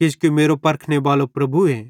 किजोकि मेरो परखने बालो प्रभुए